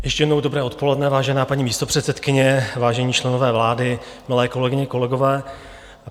Ještě jednou dobré odpoledne, vážená paní místopředsedkyně, vážení členové vlády, milé kolegyně, kolegové.